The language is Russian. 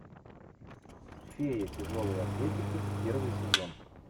феи тяжелой атлетики первый сезон